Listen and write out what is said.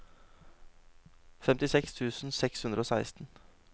femtiseks tusen seks hundre og seksten